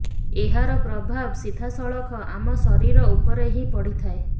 ଏହାର ପ୍ରଭାବ ସିଧାସଳଖ ଆମ ଶରୀର ଉପରେ ହିଁ ପଡିଥାଏ